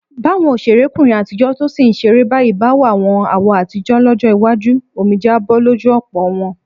Báwọn òṣèrékùnrin àtijọ́ tó sì ń ṣeré báyìí bá wàwọn àwo àtijọ́ lọ́jọ́ iwájú, omijé á bọ́ lójú ọ̀pọ̀ wọn.